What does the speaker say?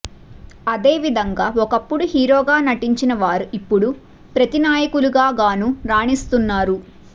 అదే విధంగా ఒకప్పుడు హీరోగా నటించిన వారు ఇప్పుడు ప్రతినాయకులుగానూ రాణిస్తున్నారు